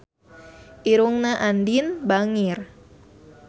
Irungna Andien bangir